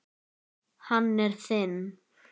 Hann er þinn.